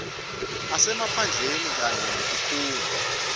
asemaphandleni kanye netikhungo